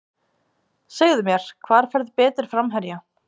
Segðu mér, hvar færðu betri framherja?